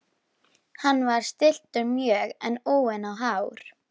Hann var stilltur mjög en úfinn á hár.